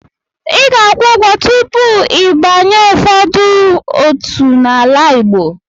Ị ga-akwụ ụgwọ tupu ịbanye n'ụfọdụ otu n'ala Igbo.